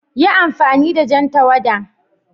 Yi amfani da jan tawada!